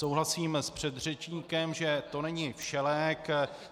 Souhlasím s předřečníkem, že to není všelék.